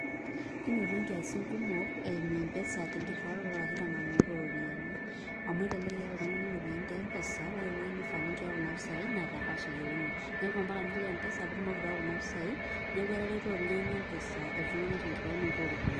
kinoto nkiasin kumok eimu empesa ashu tenkiriwaroto oo ropiyiani, amu elelek iyata oltungani iropiyiani te mpesa, ore eweui nifaa ninchoyo kuna ropiyiani naa te cash eyieuni, neku mpaka nilo empesa pee itumoki aitayu kuna pisai, neeku etareto oleng mpesa te nitauoto ooropiyiani.